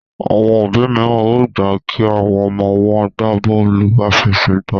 Àwọn òbí míràn o gbà kí àwọn ọmọ wón gbàbóòlù afẹsẹgba.